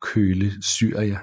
Coele Syria